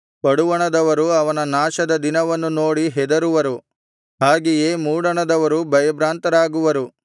ಪಡುವಣದವರು ಅವನ ನಾಶದ ದಿನವನ್ನು ನೋಡಿ ಹೆದರುವರು ಹಾಗೆಯೇ ಮೂಡಣದವರು ಭಯಭ್ರಾಂತರಾಗುವರು